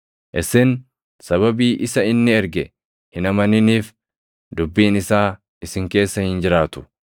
Isin sababii isa inni erge hin amaniniif dubbiin isaa isin keessa hin jiraatu.